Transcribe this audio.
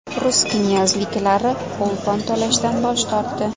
Rus knyazliklari o‘lpon to‘lashdan bosh tortdi.